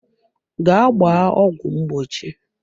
Gaa gbaa ọgwụ mgbochi.